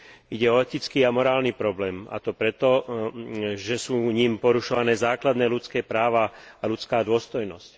Ide o etický a morálny problém, a to preto, že sú ním porušované základné ľudské práva a ľudská dôstojnosť.